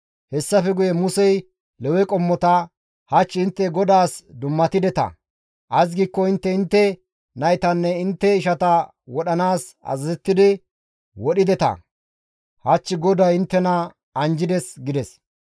Hessafe guye Musey Lewe qommota, «Hach intte GODAAS dummatideta; ays giikko intte intte naytanne intte ishata wodhanaas azazettidi wodhdhideta; hach GODAY inttena anjjides» gides.